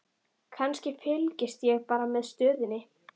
Kannski, fylgist ég bara með stöðunni?